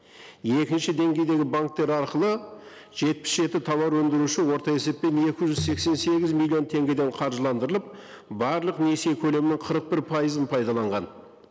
екінші деңгейдегі банктер арқылы жетпіс жеті тауар өндіруші орта есеппен екі жүз сексен сегіз миллион теңгеден қаржыландырылып барлық несие көлемнің қырық бір пайызын пайдаланған